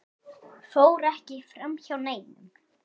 fór ekki framhjá neinum.